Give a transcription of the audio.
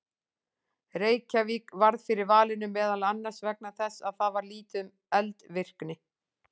Reykjavík varð fyrir valinu meðal annars vegna þess að þar var lítið um eldvirkni.